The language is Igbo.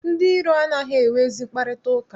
Ndị iro anaghị enwe ezi mkparịtaụka.